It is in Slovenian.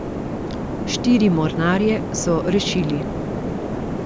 Štiri mornarje so rešili.